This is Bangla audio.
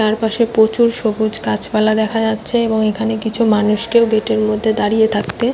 তার পাশে প্রচুর সবুজ গাছপালা দেখা যাচ্ছে এবং এখানে কিছু মানুষকেও গেট -এর মধ্যে দাঁড়িয়ে থাকতে --